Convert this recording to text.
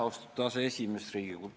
Austatud aseesimees!